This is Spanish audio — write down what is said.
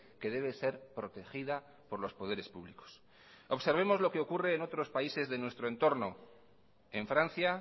que debe ser protegida por los poderes públicos observemos lo que ocurre en otros países de nuestro entorno en francia